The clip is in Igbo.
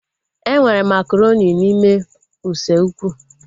Enwere makaronị n'ime usekwu